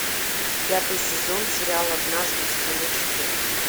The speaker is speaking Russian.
пятый сезон сериал однажды в стране чудес